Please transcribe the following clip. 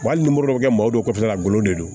Wa hali ni moribodɔ kɛ malo dɔw kɔfɛ la golo de do